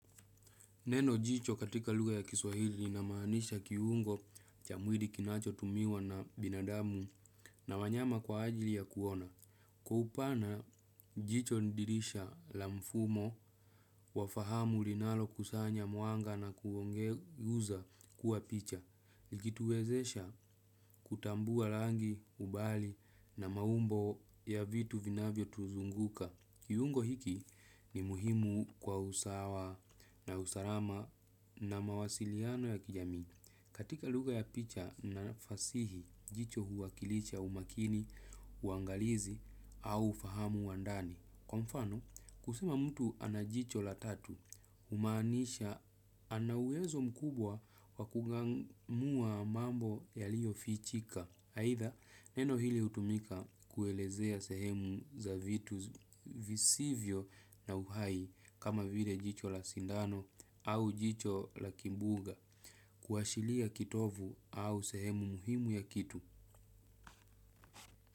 Neno jicho katika lugha ya kiswahili linamaanisha kiungo cha mwili kinacho tumiwa na binadamu na wanyama kwa ajili ya kuona. Kwa upana, jicho ni dirisha la mfumo wa fahamu linalo kusanya mwanga na kugeuza kuwa picha. Liki tuwezesha kutambua rangi, ubali na maumbo ya vitu vinavyo tuzunguka. Kiungo hiki ni muhimu kwa usawa na usalama na mawasiliano ya kijamii. Katika lugha ya picha na fasihi, jicho huwakilisha umakini, uangalizi au ufahamu wa ndani. Kwa mfano, kusema mtu ana jicho la tatu, humaanisha ana uwezo mkubwa wa kung'amua mambo yaliyo fichika. Aitha, neno hili hutumika kuelezea sehemu za vitu visivyo na uhai kama vile jicho la sindano au jicho la kimbuga kuashiria kitovu au sehemu muhimu ya kitu.